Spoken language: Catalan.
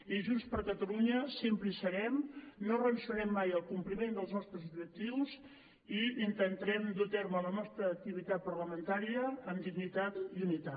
i junts per catalunya sempre hi serem no renunciarem mai al compliment dels nostres objectius i intentarem dur a terme la nostra activitat parlamentària amb dignitat i unitat